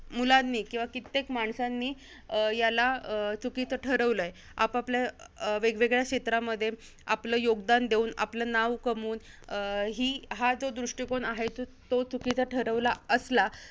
मुलांनी किंवा कित्येक माणसांनी अं याला अं चुकीचं ठरवलंय. आपापल्या वेगवेगळ्या क्षेत्रांमध्ये, आपलं योगदान देऊन, आपलं नाव कमावून, अं ही~ हा जो दृष्टीकोन आहे, तो चुकीचा ठरवला असला